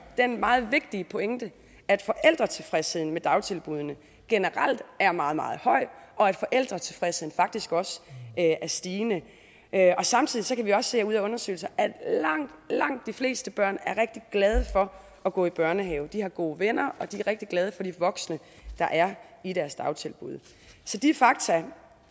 den meget vigtige pointe at forældretilfredsheden med dagtilbuddene generelt er meget meget høj og at forældretilfredsheden faktisk også er stigende samtidig kan vi også se ud af undersøgelser at langt langt de fleste børn er rigtig glade for at gå i børnehave de har gode venner og de er rigtig glade for de voksne der er i deres dagtilbud så de fakta